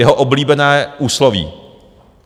Jeho oblíbené úsloví.